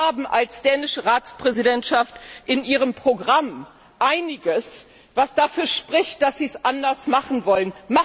Sie haben als dänische Ratspräsidentschaft in Ihrem Programm einiges, was dafür spricht, dass Sie es anders machen wollen.